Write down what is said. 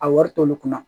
A wari t'olu kunna